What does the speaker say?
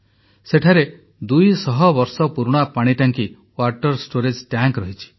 ସେଠାରେ 200 ବର୍ଷ ପୁରୁଣା ପାଣି ଟାଙ୍କି ୱାଟର୍ ଷ୍ଟୋରେଜ୍ ଟ୍ୟାଙ୍କ୍ ରହିଛି